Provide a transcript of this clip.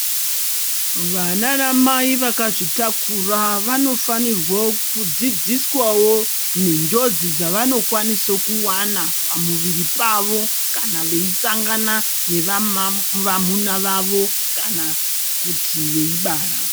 Vanaanamai vakazvitakura vanofanirwe kudzidziswawo nenjodzi dzavanokwanise kuwana pamuviri pavo, kana veisangana nevamu vamuna vavo kana kuti veibara.